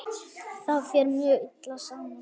Það fer mjög illa saman.